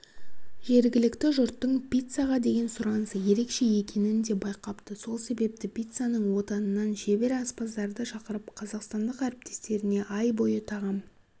жергілікті жұрттың пиццаға деген сұранысы ерекше екенін де байқапты сол себепті пиццаның отанынан шебер аспаздарды шақырып қазақстандық әріптестеріне ай бойы тағам